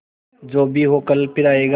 जो भी हो कल फिर आएगा